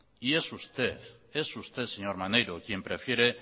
y usted es usted señor maneiro quien prefiere